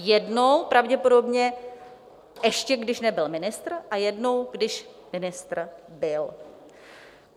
Jednou pravděpodobně, ještě když nebyl ministrem a jednou, když ministrem byl.